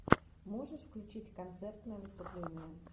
можешь включить концертное выступление